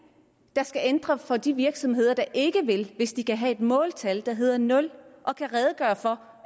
det skal ændre for de virksomheder der ikke vil hvis de kan have et måltal der hedder nul og kan redegøre for